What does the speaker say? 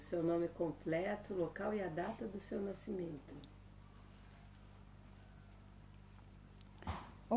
O seu nome completo, local e a data do seu nascimento.